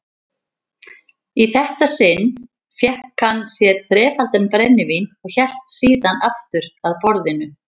þetta sinn fékk hann sér þrefaldan brennivín og hélt síðan aftur að borðinu.